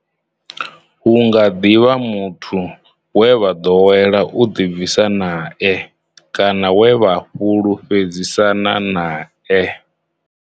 Hu nga ḓi vha muthu we vha ḓowela u ḓibvisa nae kana we vha fhulufhedzisana nae.